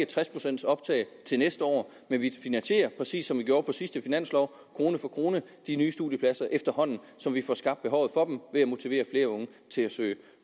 tres procent til næste år men vi finansierer præcis som vi gjorde på sidste finanslov krone for krone de nye studiepladser efterhånden som vi får skabt behovet for dem ved at motivere flere unge til at søge